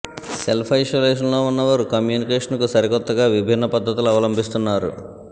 self isolation లో ఉన్న వారు కమ్యూనికేషన్ కు సరికొత్తగా విభిన్న పద్దతులు అవలంభిస్తున్నారు